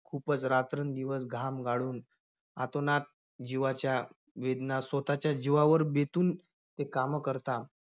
खूपच रात्रंदिवस घाम गाळून अतोनात जिवाच्या वेदना, स्वतःच्या जीवावर बेतून ते कामं करता.